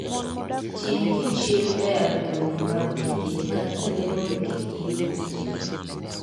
Timkichr e agulni mag pi kinde ka kinde mondo kik iyud kute.